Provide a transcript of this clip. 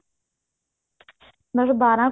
ਮਤਲਬ ਬਾਰਾਂ